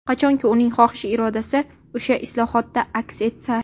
Qachonki uning xohish-irodasi o‘sha islohotda aks etsa.